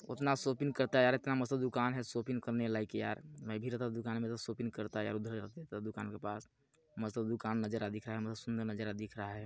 उतना शॉपिंग करता यार इतना मस्त दुकान है शॉपिंग करने लायक यार मैं भी रहता दुकान में तो शॉपिंग करता यार उधर ही रहता तो दुकान के पास मस्त दुकान नज़ारा दिख रहा है बहुत सुन्दर नज़ारा दिख रहा है।